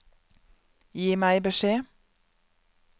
Gi meg beskjed